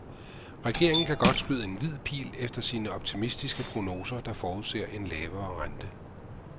Regeringen kan godt skyde en hvid pil efter sine optimistiske prognoser, der forudser en lavere rente.